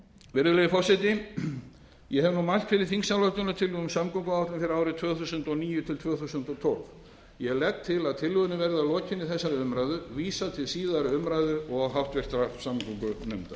virðulegi forseti ég hef nú mælt fyrir þingsályktunartillögu um samgönguáætlun fyrir árin tvö þúsund og níu til tvö þúsund og tólf ég legg til að tillögunni verði að lokinni þessari umræðu vísað til síðari umræðu og háttvirtrar samgöngunefndar